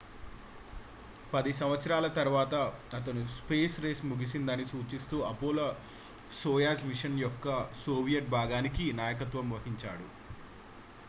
పది సంవత్సరాల తరువాత అతను స్పేస్ రేస్ ముగిసిందని సూచిస్తూ అపోలో-సోయుజ్ మిషన్ యొక్క సోవియట్ భాగానికి నాయకత్వం వహించాడు